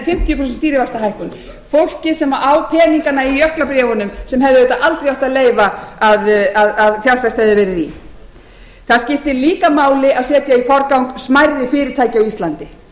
fimmtíu prósent stýrivaxtahækkun fólkið sem á peningana í jöklabréfunum sem hefði auðvitað aldrei átt að leyfa að fjárfest yrði í það skiptir líka máli að setja í forgang smærri fyrirtæki á íslandi